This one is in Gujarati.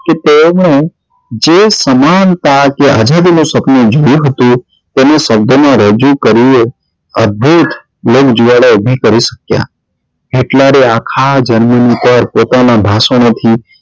કે તેઓ ને જે સમાનતા કે આઝાદી નું સપનું જોયું હતું તેનું શબ્દો માં રજુ કર્યું એ અદ્ભુત જ્વાળા ઉભી કરી શક્યા Hitler એ આખા germany પર પોતાના ભાષણો થી